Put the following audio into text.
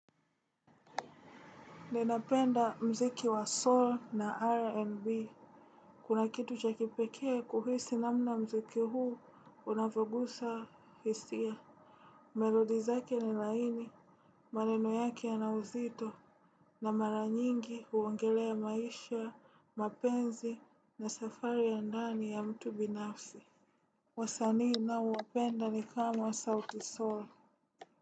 Ninapenda mziki wa soul na rnb. Kuna kitu cha kipekee kuhisi namna mziki huu unavyogusa hisia. Melodi zake ni laini, maneno yake ya na uzito. Na mara nyingi huongelea maisha, mapenzi na safari ya ndani ya mtu binafsi. Wasanii naowapenda ni kama sauti soul.